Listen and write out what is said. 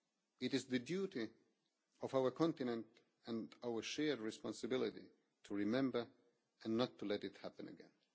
It is the duty of our continent, and our shared responsibility, to remember and not to let it happen again.